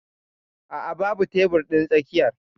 A'a babu tebur din tsakiyar.